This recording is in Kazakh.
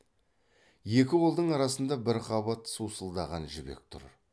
екі қолдың арасында бір қабат сусылдаған жібек тұр